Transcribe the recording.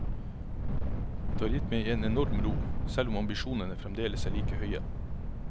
Det har gitt meg en enorm ro, selv om ambisjonene fremdeles er like høye.